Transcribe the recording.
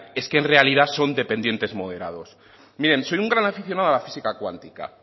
es que en realidad son dependientes moderados miren soy un gran aficionado a la física quántica